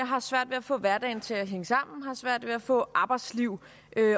har svært ved at få hverdagen til at hænge sammen og har svært ved at få arbejdsliv